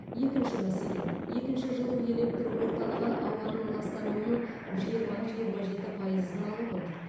екінші мәселе екінші жылу электр орталығы ауаның ластануының жиырма жиырма жеті пайызын алып отыр